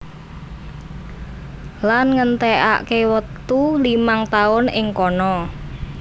Lan ngentèkaké wektu limang taun ing kana